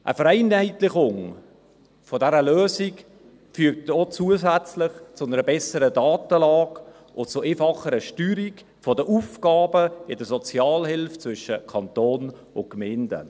Eine Vereinheitlichung dieser Lösung führt auch zusätzlich zu einer besseren Datenlage und zu einfacherer Steuerung der Aufgaben in der Sozialhilfe zwischen Kanton und Gemeinden.